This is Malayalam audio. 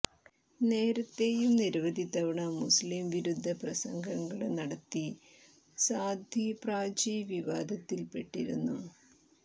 നേരത്തെയും നിരവധി തവണ മുസ്ലിം വിരുദ്ധ പ്രസംഗങ്ങള് നടത്തി സാധ്വി പ്രാചി വിവാദത്തില്പെട്ടിരുന്നു